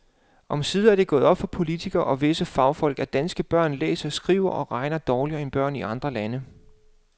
Omsider er det gået op for politikere og visse fagfolk, at danske børn læser, skriver og regner dårligere end børn i andre lande.